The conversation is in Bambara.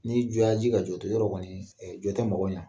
Ni jɔ ya ji yɔrɔ kɔni jɔ tɛ mɔgɔ ɲɛ